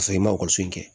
Ka sɔrɔ i ma ekɔliso kɛ